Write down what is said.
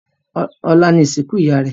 ọlá ní ìsìnkú ìyá rẹ